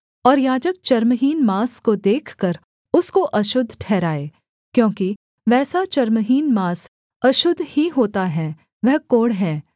और याजक चर्महीन माँस को देखकर उसको अशुद्ध ठहराए क्योंकि वैसा चर्महीन माँस अशुद्ध ही होता है वह कोढ़ है